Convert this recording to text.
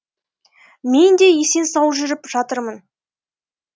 мен де есен сау жүріп жатырмын